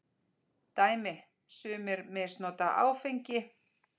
Dæmi: Sumir misnota áfengi.